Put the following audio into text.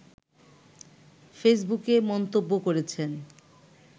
ফেসবুকে মন্তব্য করেছেন